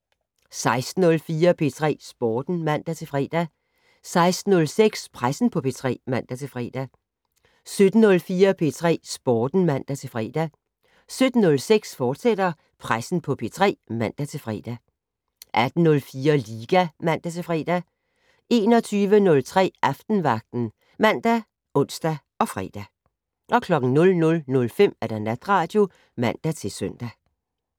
16:04: P3 Sporten (man-fre) 16:06: Pressen på P3 (man-fre) 17:04: P3 Sporten (man-fre) 17:06: Pressen på P3, fortsat (man-fre) 18:04: Liga (man-fre) 21:03: Aftenvagten ( man, ons, fre) 00:05: Natradio (man-søn)